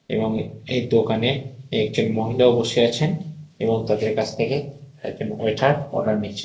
এবং এই দোকানে একজন মহিলাও বসে আছেন এবং তাদের কাছ থেকে একজন ওয়েটার অর্ডার নিচ্ছেন।